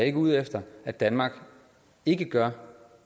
ikke ude efter at danmark ikke gør